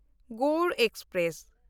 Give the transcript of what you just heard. Gour express